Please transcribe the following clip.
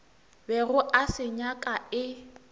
bego a se nyaka e